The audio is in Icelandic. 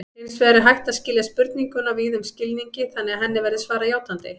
Hins vegar er hægt að skilja spurninguna víðum skilningi þannig að henni verði svarað játandi.